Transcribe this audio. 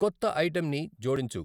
కొత్త ఐటెంన్ని జోడించు .